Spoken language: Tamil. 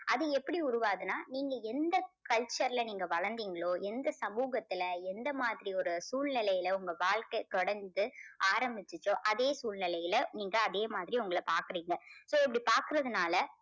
அது எப்படி உருவாகுதுன்னா நீங்க எந்த culture ல நீங்க வளர்ந்தீங்களோ எந்த சமூகத்துல எந்த மாதிரி ஒரு சூழ்நிலையில உங்க வாழ்க்கை தொடர்ந்து ஆரம்பிச்சுச்சோ அதே சூழ்நிலையில நீங்க அதே மாதிரி உங்களை பார்க்குறீங்க. so இப்படி பாக்குறதுனால